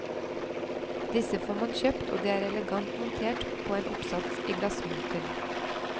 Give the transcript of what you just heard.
Disse får man kjøpt og de er elegant montert på en oppsats i en glassmonter.